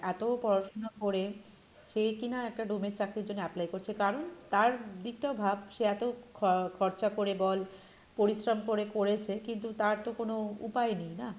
এত পড়াশুনো করে সে কী না একটা ডোমের চাকরির জন্য apply করছে কারণ তার দিকটা ভাব সে এত খ~খরচা করে বল, পরিশ্রম করে করেছে কিন্তু তার তো কোনো উপায় নেই না,